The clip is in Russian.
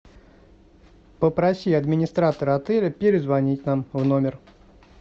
попроси администратора отеля перезвонить нам в номер